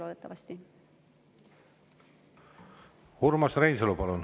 Urmas Reinsalu, palun!